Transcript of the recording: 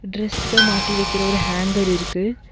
டிரஸ்ஸ மாட்டி வைக்கிற ஒரு ஹேங்கர் இருக்கு.